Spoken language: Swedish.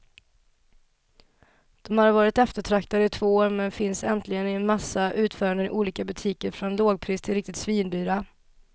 De har varit eftertraktade i två år, men finns äntligen i en massa utföranden i olika butiker från lågpris till riktigt svindyra.